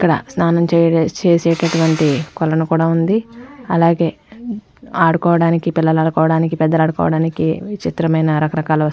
ఇక్కడ స్నానం చేసే చేసేటటువంటి కొలను కూడా ఉంది అలాగే ఆడుకోవానికి పిల్లలు ఆడుకోవానికి పెద్దవాళ్ళు ఆడుకోవానికి విచిత్రమైన రకరకాల వస్తువులు --